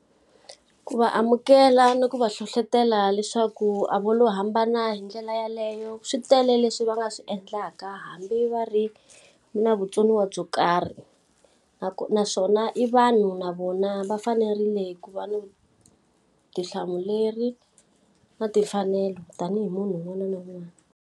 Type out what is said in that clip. Ku va amukela ni ku va hlohletela leswaku a vo lo hambana hi ndlela yaleyo, swi tele leswi va nga swi endlaka hambi va ri na vutsoniwa byo karhi. naswona i vanhu na vona va fanerile ku va ni vutihlamuleri, na timfanelo tanihi munhu un'wana na un'wana.